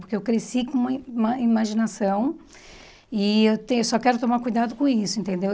Porque eu cresci com uma uma imaginação e eu tenho só quero tomar cuidado com isso, entendeu?